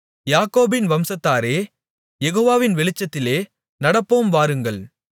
யாக்கோபின் வம்சத்தாரே யெகோவாவின் வெளிச்சத்திலே நடப்போம் வாருங்கள்